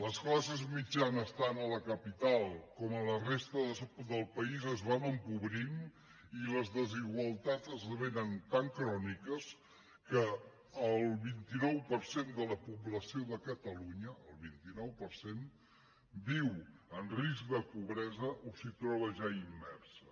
les classes mitjanes tant a la capital com a la resta del país es van empobrint i les desigualtats esdevenen tan cròniques que el vint nou per cent de la població de catalunya el vint nou per cent viu en risc de pobresa o s’hi troba ja immersa